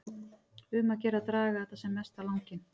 Um að gera að draga þetta sem mest á langinn.